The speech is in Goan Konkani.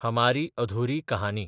हमारी अधुरी कहानी